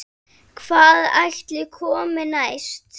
Hvað ætli komi næst?